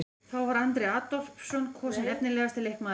Þá var Andri Adolphsson kosinn efnilegasti leikmaðurinn.